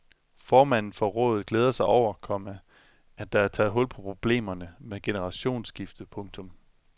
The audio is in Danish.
Formanden for rådet glæder sig over, komma at der er taget hul på problemerne med generationsskifte. punktum